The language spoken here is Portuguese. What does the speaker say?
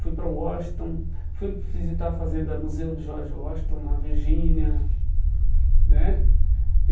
Fui para Washington, fui visitar a Fazenda Museu de George Washington, na Virgínia né.